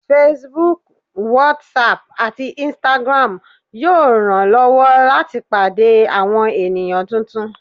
Facebook, Whatsapp atí Instagram yóò ranlọwọ lati pàdé awọn eníyan túntún.